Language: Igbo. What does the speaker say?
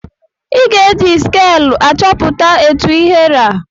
Ị ga-eji skel achọpụta etụ ihe ra.